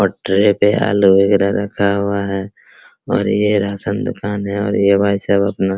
पटरे पे आलू वगैरा रखा हुआ है और ये रासन दुकान है और ये भाई साहब अपना --